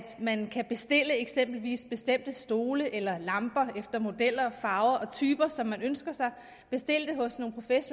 man kan bestille eksempelvis bestemte stole eller lamper efter modeller farver og typer som man ønsker sig